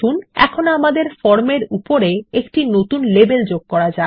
এখন আমাদের ফর্ম এর উপরে একটি নতুন লেবেল যোগ করা যাক